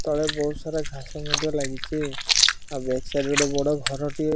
ତଳେ ବୋହୁତ୍ ସାରା ଘାସ ମଧ୍ୟ ଲାଗିଚି ତା ବ୍ୟାକ୍ ସାଇଡ଼୍ ରେ ଗୋଟେ ବଡ଼ ଘର ଟିଏ --